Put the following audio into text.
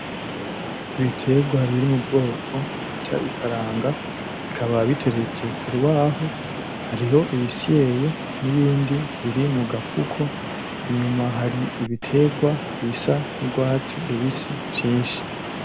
Ibitegwa biri mu bwoko bita ikaranga bikaba biteretse k'urubaho hariho ibisyeye n'ibindi biri mugafuko inyuma hari ibitegwa bisa nk'urwatsi rubisi vyinshi.